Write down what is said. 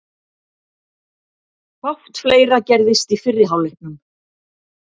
Fátt fleira gerðist í fyrri hálfleiknum.